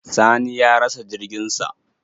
Sani ya rasa jirgin sa.